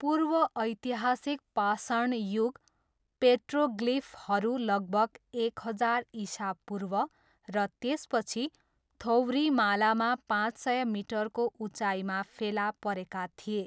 पूर्व ऐतिहासिक पाषाण युग पेट्रोग्लिफहरू लगभग एक हजार इसापूर्व र त्यसपछि थोवरिमालामा पाँच सय मिटरको उचाइमा फेला परेका थिए।